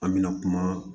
An mɛna kuma